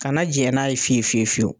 Kana jɛ n'a ye fiyewu fiyewu.